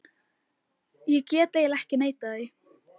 Ég get eiginlega ekki neitað því.